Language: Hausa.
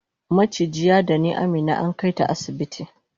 maciji yadani Amina ankaita asibiti